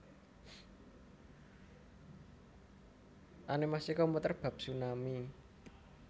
Animasi komputer bab tsunami